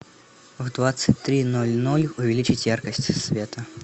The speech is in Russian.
в двадцать три ноль ноль увеличить яркость света